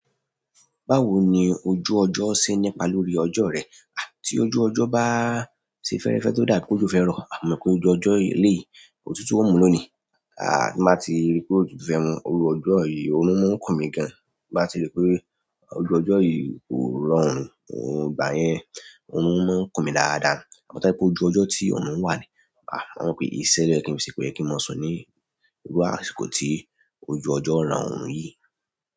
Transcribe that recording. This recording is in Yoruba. Báwo ni ojú ọjọ́ ṣe ń nípa lórí ọjọ́ rẹ? À tí ojú ọjọ́ bá ṣe fẹ́ẹ́rẹ́fẹ́ tó dà bí pé òjò fẹ́ rọ̀, a mọ̀ pé ojú ọjọ́ eléyìí òtútù ó mú lónìí. À tí n bá ti rí pé òtútù ò tún fẹ́ mu, irú ọjọ́ yìí orun máa ń kùn mi gan. Tí n bá ti rí pé ojú ọjọ́ yìí kò rọrùn ìgbà yẹn, orun máa ń kùn mi dáadáa. Àmọ́ tó bá jẹ́ pé ojú ọjọ́ tí òrùn wà ni, à màá mọ̀ pé ìṣe ló yẹ kí n fi ṣe, kò yẹ kí n mọ sùn ní irú àsìkò tí ojú ọjọ́ ran òrún yìí.